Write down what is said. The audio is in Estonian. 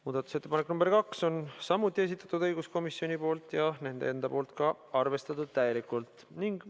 Muudatusettepaneku nr 2 on samuti esitanud õiguskomisjon ja nad ise on seda ka täielikult arvestanud.